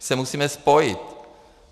My se musíme spojit.